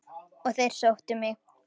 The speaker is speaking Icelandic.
Og þeir sóttu mig.